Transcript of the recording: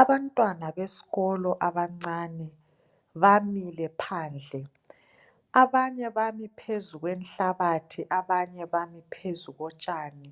Abantwana beskolo abancane bamile phandle. Abanye bami phezu kwenhlabathi, abanye bami phezu kotshani.